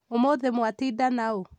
ũmũthĩ mwatinda naũ?